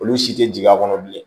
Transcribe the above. Olu si tɛ jigin a kɔnɔ bilen